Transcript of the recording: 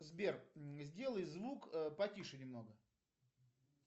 сбер сделай звук потише немного